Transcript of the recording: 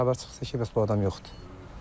Bir azdan da xəbər çıxdı ki, bəs bu adam yoxdur.